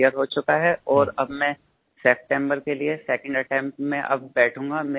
clear हो चुका है और अब मैं सप्टेंबर के लिए सेकंड अटेम्प्ट में अब बैठूंगा